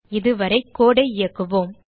இதுவரை கோடு ஐ இயக்குவோம்